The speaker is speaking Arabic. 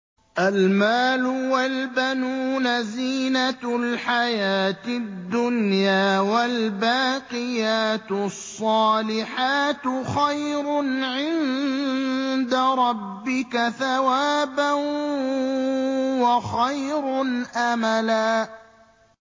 الْمَالُ وَالْبَنُونَ زِينَةُ الْحَيَاةِ الدُّنْيَا ۖ وَالْبَاقِيَاتُ الصَّالِحَاتُ خَيْرٌ عِندَ رَبِّكَ ثَوَابًا وَخَيْرٌ أَمَلًا